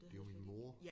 Det jo min mor